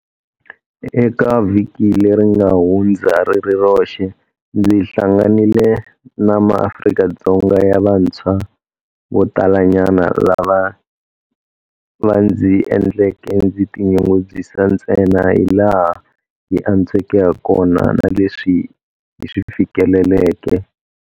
Eka vhiki leri nga hundza ri ri roxe ndzi hlanganile na maAfrika-Dzonga ya vantshwa vo talanyana lava va ndzi endleke ndzi tinyungubyisa ntsena hilaha hi antsweke hakona na leswi hi swi fikeleleke.